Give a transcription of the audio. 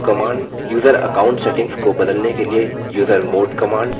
user account settings को बदलने के लिए usermod command